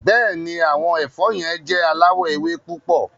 Bẹ́ẹ̀ni, awọn ẹfọ̀ yẹn jẹ̀ aláwọ̀ èwè̀ púpọ̀.